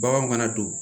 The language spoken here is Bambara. Baganw kana don